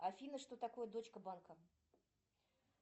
афина что такое дочка банка